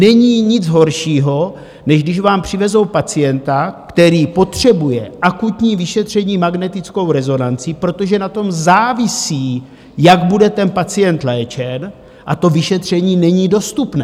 Není nic horšího, než když vám přivezou pacienta, který potřebuje akutní vyšetření magnetickou rezonancí, protože na tom závisí, jak bude ten pacient léčen, a to vyšetření není dostupné.